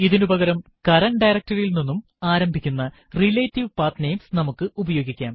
ഇതിനു പകരം current directory യിൽ നിന്നും ആരംഭിക്കുന്ന റിലേറ്റീവ് പത്നമേസ് നമുക്ക് ഉപയോഗിക്കാം